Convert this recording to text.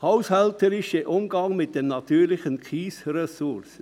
Haushälterischer Umgang mit den natürlichen Kiesressourcen.